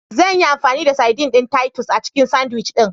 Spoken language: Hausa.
Zanyi amfani da saidin ɗin Titus a cikin sandwich ɗin.